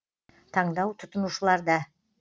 таңдау тұтынушыларда